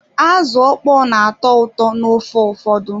Azụ ịkpọ n'atọ ụtọ n'ofe ụfọdụ.